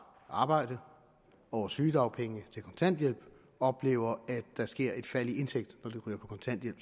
arbejde over sygedagpenge til kontanthjælp oplever at der sker et fald i indtægten når de ryger på kontanthjælp